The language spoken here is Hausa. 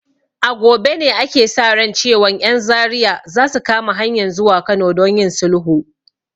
A gobe ne ake sa ran cewan 'yan Zaria za su kama hanyan zuwa Kano don yin sulhu.